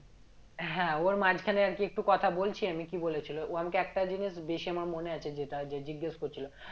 হ্যাঁ ওর মাঝখানে আরকি একটু কথা বলছি আমি কি বলেছিলো ও আমাকে একটা জিনিস বেশ আমার মনে আছে যেটা যে জিজ্ঞেস করছিলো